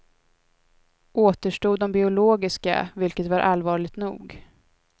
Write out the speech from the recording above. Återstod de biologiska, vilket var allvarligt nog.